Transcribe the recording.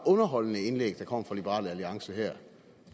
underholdende indlæg der kom fra liberal alliance her